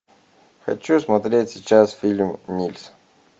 хочу смотреть сейчас фильм нильс